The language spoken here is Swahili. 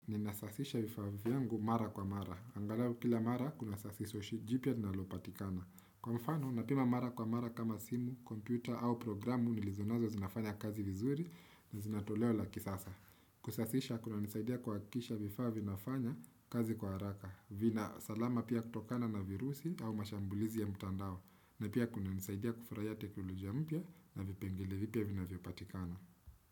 Ninasasisha vifaviyangu mara kwa mara. Angalau kila mara, kuna sasiso jipia na lopatikana. Kwa mfano, napima mara kwa mara kama simu, kompyuta au programu nilizonazo zinafanya kazi vizuri na zinatoleo la kisasa. Kusasisha, kuna nisaidia kwa kisha vifavinafanya kazi kwa haraka. Vina salama pia kutokana na virusi au mashambulizi ya mutandao. Na pia kuna nisaidia kufuraya teknolojia mpya na vipengele vipya vinavyopatikana.